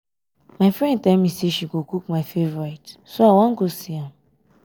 my friend tell me say she go cook my favourite so i wan go see am